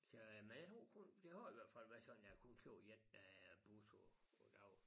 Så øh men jeg tror kun det har i hvert fald været sådan der kun kører én øh bus om om dagen